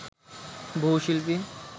বহু শিল্পী